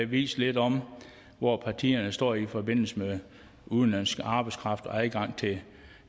vist lidt om hvor partierne står i forbindelse med udenlandsk arbejdskraft og adgangen til